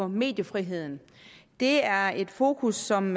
mediefriheden det er et fokus som